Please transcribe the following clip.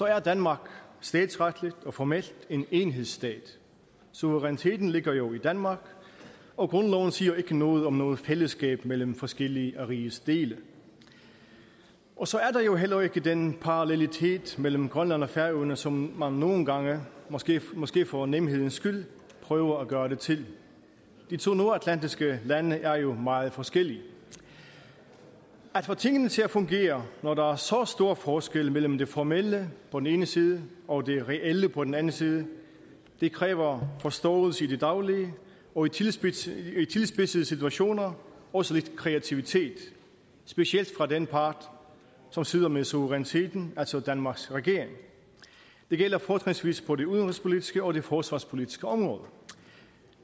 er danmark statsretligt og formelt en enhedsstat suveræniteten ligger jo i danmark og grundloven siger ikke noget om noget fællesskab mellem forskellige af rigets dele og så er der jo heller ikke den parallelitet mellem grønland og færøerne som man nogle gange måske måske for nemhedens skyld prøver at gøre det til de to nordatlantiske lande er jo meget forskellige at få tingene til at fungere når der er så stor forskel mellem det formelle på den ene side og det reelle på den anden side kræver forståelse i det daglige og i tilspidsede i tilspidsede situationer også lidt kreativitet specielt fra den part som sidder med suveræniteten altså danmarks regering det gælder fortrinsvis på det udenrigspolitiske og forsvarspolitiske område